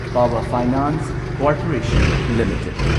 power finance corporation limited